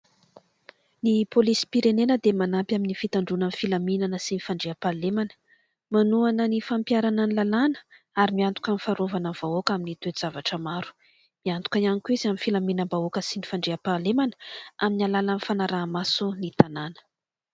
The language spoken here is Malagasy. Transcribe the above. Ny polisim-pirenena dia manampy amin'ny fitandroanan'ny filaminana sy ny fandriam-pahalemana, manohana ny fampiarana ny lalàna ary miantoka amin'ny fiarovana ny vahoaka amin'ny toe-javatra maro. Miantoka ihany koa izy amin'ny filaminam-bahoaka sy ny fandriam-pahalemana amin'ny alalan'ny fanaraha-maso ny tanàna.